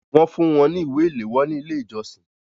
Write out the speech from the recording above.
Wọ́n fún wọn ní ìwé ìléwọ́ ní ilé ìjọsìn